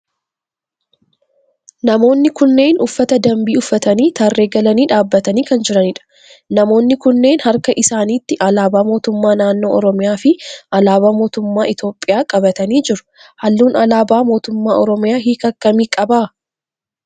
namoonni kunneen uffata dambii uffatanii tarree galanii dhaabbatanii kan jiranidha. namoonni kunneen harka isaanitti alaabaa mootummaa naannoo oromiyaa fi alaabaa mootummaa Itiyoophiyaa qabatanii jiru. halluun alaabaa mootummaa oromiyaa hiika akkamii qaba?